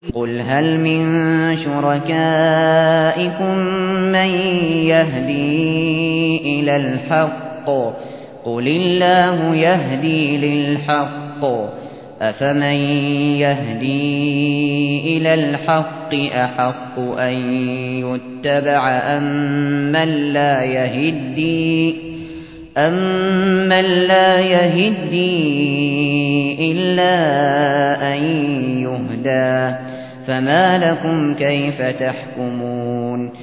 قُلْ هَلْ مِن شُرَكَائِكُم مَّن يَهْدِي إِلَى الْحَقِّ ۚ قُلِ اللَّهُ يَهْدِي لِلْحَقِّ ۗ أَفَمَن يَهْدِي إِلَى الْحَقِّ أَحَقُّ أَن يُتَّبَعَ أَمَّن لَّا يَهِدِّي إِلَّا أَن يُهْدَىٰ ۖ فَمَا لَكُمْ كَيْفَ تَحْكُمُونَ